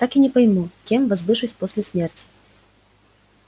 так и не пойму кем возвышусь после смерти